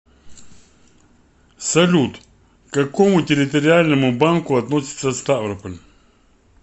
салют к какому территориальному банку относится ставрополь